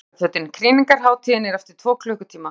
ALLIR Í SPARIFÖTIN KRÝNINGARHÁTÍÐIN ER EFTIR TVO KLUKKUTÍMA!